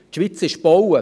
Die Schweiz ist gebaut.